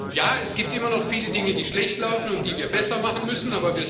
Ja, es gibt immer noch viele Dinge, die schlecht laufen und die wir besser machen müssen.